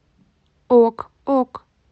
ок ок